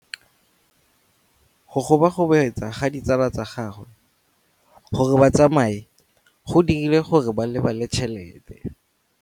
Go gobagobetsa ga ditsala tsa gagwe, gore ba tsamaye go dirile gore a lebale tšhelete.